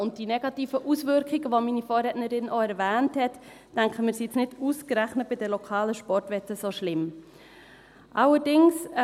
Und wir denken, dass die negativen Auswirkungen, die meine Vorrednerin erwähnt hat, jetzt nicht ausgerechnet bei den lokalen Sportwetten so schlimm sind.